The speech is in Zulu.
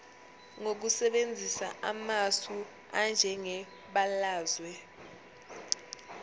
ngokusebenzisa amasu anjengebalazwe